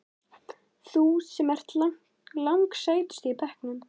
Þú sem ert lang sætust í bekknum.